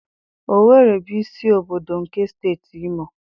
Owere bụ isi obodo nke Steeti Imo.